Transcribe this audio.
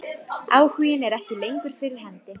Áhuginn er ekki lengur fyrir hendi.